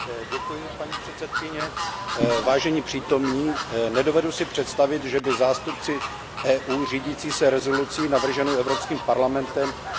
Vážení přítomní, nedovedu si představit, že by zástupci EU řídící se rezolucí navrženou Evropským parlamentem dosáhli ve Stockholmu nějakého výsledku.